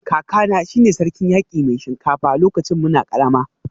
Kakana shi ne Sarkin Yaki Mai Shinkafa lokacin muna karama